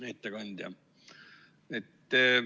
Hea ettekandja!